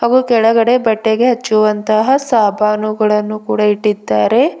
ಹಾಗೂ ಕೆಳಗಡೆ ಬಟ್ಟೆಗೆ ಹಚ್ಚುವಂತಹ ಸಾಬಾನುಗಳನ್ನು ಕೂಡ ಇಟ್ಟಿದ್ದಾರೆ.